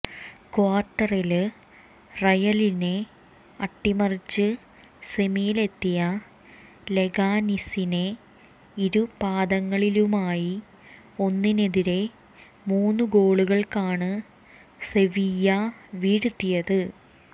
ക്വാര്ട്ടറില് റയലിനെ അട്ടിമറിച്ച് സെമിയിലെത്തിയ ലെഗാനിസിനെ ഇരു പാദങ്ങളിലുമായി ഒന്നിനെതിരെ മൂന്ന് ഗോളുകള്ക്കാണ് സെവിയ്യ വീഴ്ത്തിയത്